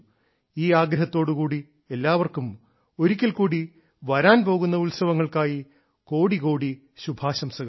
ഈ ആഗ്രഹത്തോടുകൂടി എല്ലാവർക്കും ഒരിക്കൽക്കൂടി വരാൻ പോകുന്ന ഉത്സവങ്ങൾക്കായി കോടികോടി ശുഭാശംസകൾ